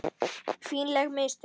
Fínleg mistök.